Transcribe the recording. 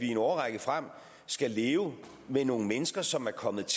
en årrække frem skal leve med nogle mennesker som er kommet